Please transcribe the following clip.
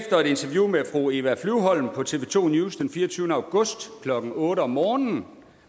interview med fru eva flyvholm på tv2 news den fireogtyvende august klokken otte om morgenen